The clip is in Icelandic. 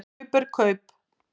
Kaup er kaup.